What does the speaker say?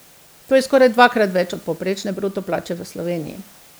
To je skoraj dvakrat več od povprečne bruto plače v Sloveniji.